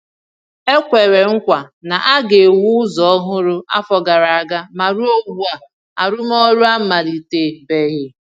E kwèrè nkwa na a ga-ewu ụzọ ọhụrụ afọ gara aga, ma ruo ugbu a, arụmọrụ amalite-beghi